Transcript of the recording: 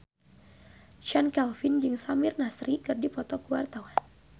Chand Kelvin jeung Samir Nasri keur dipoto ku wartawan